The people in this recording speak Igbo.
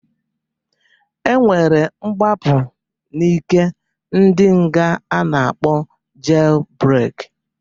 E nwere mgbapụ n'ike ndị nga a na-akpọ jel breki.